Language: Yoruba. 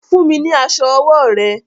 Fún mi ní aṣọ ọwọ́ rẹ!